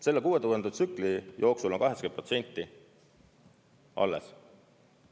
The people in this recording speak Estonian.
Selle 6000 tsükli jooksul on 80% alles.